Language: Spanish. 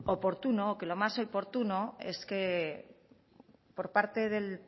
que lo más oportuno es que por parte del